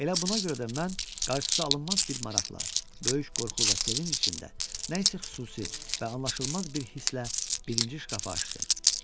Elə buna görə də mən qarşısı alınmaz bir maraqla, böyük qorxu və sevinc içində, nə isə xüsusi və anlaşılmaz bir hisslə birinci şkafı açdım.